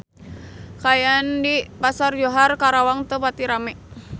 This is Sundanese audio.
Kaayaan di Pasar Johar Karawang teu pati rame